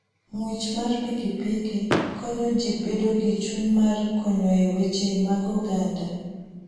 Ng'wech mar pikipiki konyo ji bedo gi chuny mar konyo e weche mag oganda.